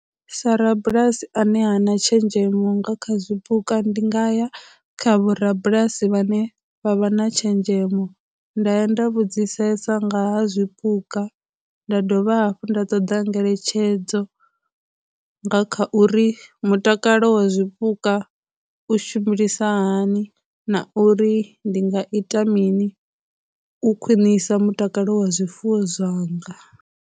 Sa rabulasi ane hana tshenzhemo nga kha zwipuka ndi nga ya kha vho rabulasi vhane vha vha na tshenzhemo nda ya nda vhudzisesa nga ha zwipuka, nda dovha hafhu nda ṱoda ngeletshedzo nga kha uri mutakalo wa zwipuka u hani na uri ndi nga ita mini u khwinisa mutakalo wa zwifuwo zwanga.